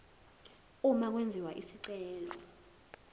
uma kwenziwa isicelo